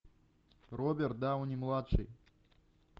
роберт дауни младший